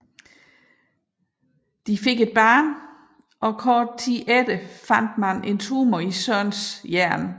De fik et barn og kort tid efter fandt man en tumor i Sørens hjerne